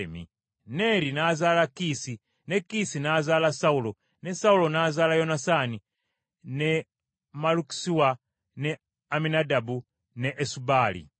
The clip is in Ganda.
Neeri n’azaala Kiisi, ne Kiisi n’azaala Sawulo, ne Sawulo n’azaala Yonasaani, ne Malukisuwa, ne Abinadaabu ne Esubaali.